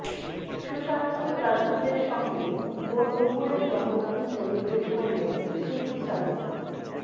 সুশান্ত সিং রাজপুতের সঙ্গে বোন নুপূরের জন্মদিন সেলিব্রেট করলেন কৃতী শ্যানন